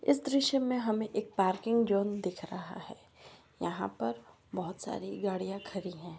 इस दृश्य में हमें एक पार्किंग जोन दिख रहा है यहां पर बहुत सारी गाड़ियां खड़ी हैं।